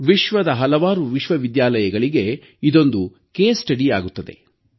ವಿಶ್ವದ ಹಲವಾರು ವಿಶ್ವವಿದ್ಯಾಲಯಗಳಿಗೆ ಇದೊಂದು ಮಾದರಿ ಅಧ್ಯಯನ ಆಗುವುದು